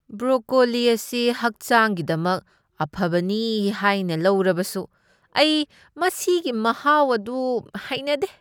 Broccoli ꯑꯁꯤ ꯍꯛꯆꯥꯡꯒꯤꯗꯃꯛ ꯑꯐꯕꯅꯤ ꯍꯥꯏꯅ ꯂꯧꯔꯕꯁꯨ ꯑꯩ ꯃꯁꯤꯒꯤ ꯃꯍꯥꯎ ꯑꯗꯨ ꯍꯩꯅꯗꯦ꯫